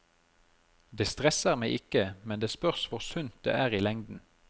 Det stresser meg ikke, men det spørs hvor sunt det er i lengden.